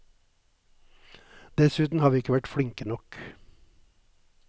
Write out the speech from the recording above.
Dessuten har vi ikke vært flinke nok.